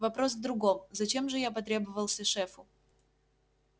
вопрос в другом зачем же я потребовался шефу